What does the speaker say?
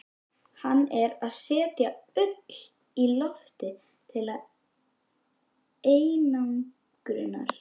Hann er að setja ull í loftið til einangrunar.